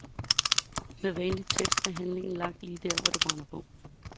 Med vanlig tæft er handlingen lagt lige der, hvor det brænder på.